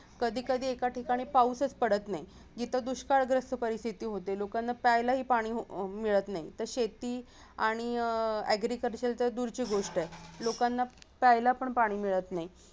कधी कधी एका ठिकाणी पाऊसच पडत नाही जिथे दुष्काळग्रस्त परिस्थिती होते लोकांना प्यायलाही पाणी अं मिळत नाही तर शेती आणि agriculture तर दूरची गोष्ट आहे लोकांना प्यायलापण पाणी मिळत नाही